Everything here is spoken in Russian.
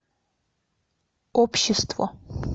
общество